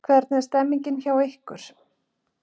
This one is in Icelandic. Hvernig er stemmingin hjá ykkur?